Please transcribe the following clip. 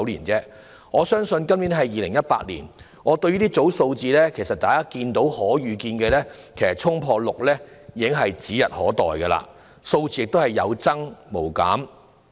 今年是2018年，大家可以預見，公屋輪候時間衝破6年是指日可待的，數字只會有增無減。